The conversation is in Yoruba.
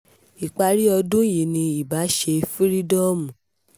ìparí ọdún yìí ni ibà ṣe fírídọ́ọ̀mù